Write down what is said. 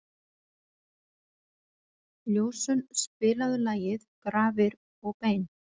Ljósunn, spilaðu lagið „Grafir og bein“.